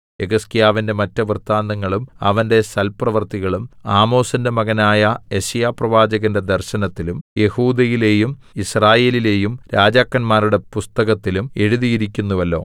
യെഹിസ്കീയാവിന്റെ മറ്റ് വൃത്താന്തങ്ങളും അവന്റെ സൽപ്രവൃത്തികളും ആമോസിന്റെ മകനായ യെശയ്യാപ്രവാചകന്റെ ദർശനത്തിലും യെഹൂദയിലെയും യിസ്രായേലിലെയും രാജാക്കന്മാരുടെ പുസ്തകത്തിലും എഴുതിയിരിക്കുന്നുവല്ലോ